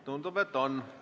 Tundub, et on.